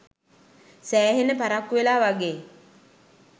සෑහෙන පරක්කු වෙලා වගේ